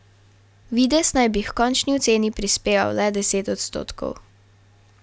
Videz naj bi h končni oceni prispeval le deset odstotkov.